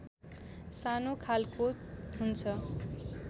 सानो खालको हुन्छ